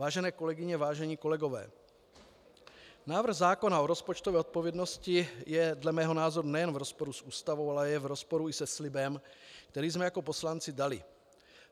Vážené kolegyně, vážení kolegové, návrh zákona o rozpočtové odpovědnosti je dle mého názoru nejenom v rozporu s Ústavou, ale je v rozporu i se slibem, který jsme jako poslanci dali.